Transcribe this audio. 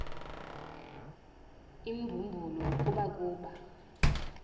imbumbulu kubo kuba